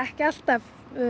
ekki alltaf